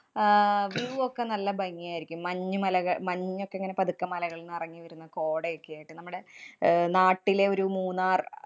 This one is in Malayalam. view വോക്കെ നല്ല ഭംഗിയായിരിക്കും. മഞ്ഞുമലകള്‍ മഞ്ഞൊക്കെ ഇങ്ങനെ പതുക്കെ മലകള്‍ നെറഞ്ഞു വരുന്ന കോടയോക്കെയായിട്ട് നമ്മുടെ അഹ് നാട്ടിലെ ഒരു മൂന്നാര്‍